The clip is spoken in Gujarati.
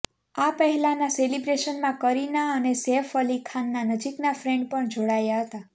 આ પહેલાંના સેલિબ્રેશનમાં કરિના અને સૈફઅલી ખાનના નજીકના ફ્રેન્ડ પણ જોડાયા હતા